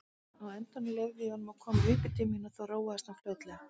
Á endanum leyfði ég honum að koma uppí til mín og þá róaðist hann fljótlega.